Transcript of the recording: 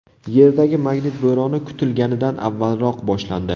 Yerdagi magnit bo‘roni kutilganidan avvalroq boshlandi.